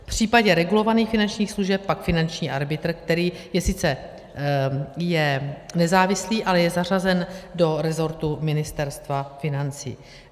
V případě regulovaných finančních služeb pak finanční arbitr, který je sice nezávislý, ale je zařazen do rezortu Ministerstva financí.